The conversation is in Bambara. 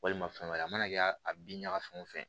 Walima fɛn wɛrɛ a mana kɛ a bin ɲaga fɛn wo fɛn